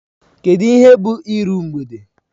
Kedu ihe bụ iru mgbede?